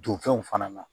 Don fɛnw fana na